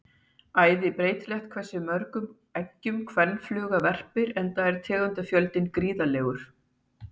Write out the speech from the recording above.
æði breytilegt er hversu mörgum eggjum kvenfluga verpir enda er tegundafjöldinn gríðarlegur